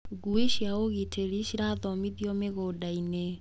Ngui cia ũgitĩri cirathomithio mĩgũndainĩ.